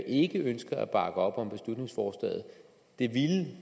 ikke ønsker at bakke op om beslutningsforslaget det ville